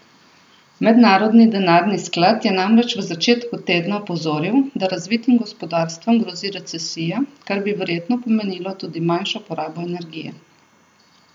Mednarodni denarni sklad je namreč v začetku tedna opozoril, da razvitim gospodarstvom grozi recesija, kar bi verjetno pomenilo tudi manjšo porabo energije.